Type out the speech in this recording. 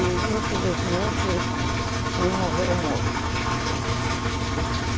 E, infelizmente, um morreu moço.